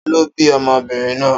Ta ló bí ọmọbìnrin náà?